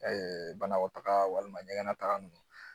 banakɔtaga walima ɲɛgɛn nataga nunnu